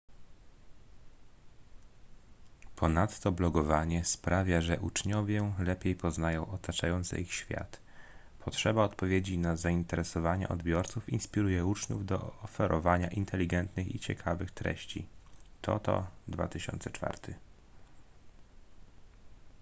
ponadto blogowanie sprawia że uczniowie lepiej poznają otaczający ich świat”. potrzeba odpowiedzi na zainteresowania odbiorców inspiruje uczniów do oferowania inteligentnych i ciekawych treści toto 2004